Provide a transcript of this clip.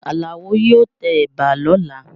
Àlàó yóò tẹ ẹ̀bà lọ́la